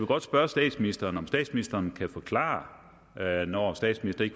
godt spørge statsministeren om statsministeren kan forklare når statsministeren